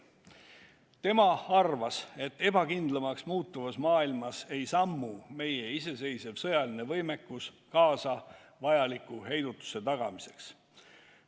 Tema arvas, et ebakindlamaks muutuvas maailmas ei sammu meie iseseisev sõjaline võimekus kaasa vajaliku heidutuse tagamiseks.